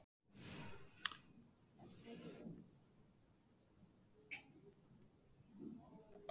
Lillý Valgerður: Hvernig er veðrið svona næstu daga, eigið þið von á öðrum eins hvelli?